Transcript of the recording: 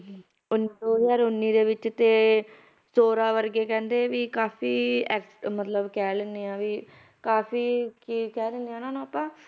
ਉੱਨੀ ਦੋ ਹਜ਼ਾਰ ਉੱਨੀ ਦੇ ਵਿੱਚ ਤੇ ਜ਼ੋਰਾ ਵਰਗੇ ਕਹਿੰਦੇ ਵੀ ਕਾਫ਼ੀ act~ ਮਤਲਬ ਕਹਿ ਲੈਂਦੇ ਹਾਂ ਵੀ ਕਾਫ਼ੀ ਕੀ ਕਹਿ ਦਿੰਦੇ ਹਾਂ ਉਹਨਾਂ ਨੂੰ ਆਪਾਂ